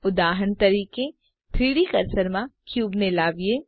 ઉદાહરણ તરીકે 3ડી કર્સર માં ક્યુબને લાવીએ